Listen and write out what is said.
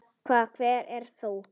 Hver ert þú?